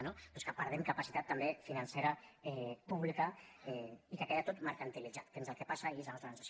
no doncs que perdem capacitat també financera pública i que queda tot mercantilitzat que és el que passa i és la nostra sensació